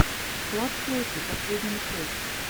склад чайки последняя часть